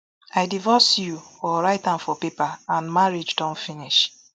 i divorce you or write am for paper and marriage don finish